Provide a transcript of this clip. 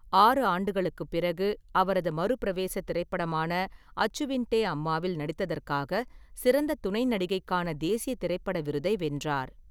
ஆறு ஆண்டுகளுக்குப் பிறகு அவரது மறுபிரவேச திரைப்படமான அச்சுவின்டே அம்மாவில் நடித்ததற்காக சிறந்த துணை நடிகைக்கான தேசிய திரைப்பட விருதை வென்றார்.